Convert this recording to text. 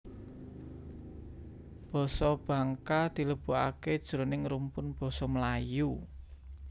Basa Bangka dilebokaké jroning rumpun basa Melayu